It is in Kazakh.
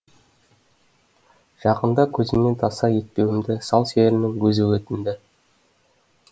жақында көзімнен таса етпеуімді сал серінің өзі өтінді